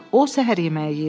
O səhər yeməyi yeyirdi.